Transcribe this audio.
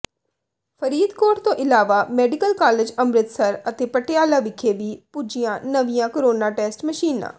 ਫਰੀਦਕੋਟ ਤੋਂ ਇਲਾਵਾ medical college Amritsar ਅਤੇ ਪਟਿਆਲਾ ਵਿਖੇ ਵੀ ਪੁੱਜੀਆਂ ਨਵੀਆਂ ਕਰੋਨਾ ਟੈਸਟ ਮਸ਼ੀਨਾ